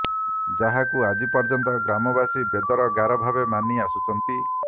ଯାହାକୁ ଆଜି ପର୍ଯ୍ୟନ୍ତ ଗ୍ରାମବାସୀ ବେଦର ଗାର ଭାବେ ମାନି ଆସୁଛନ୍ତି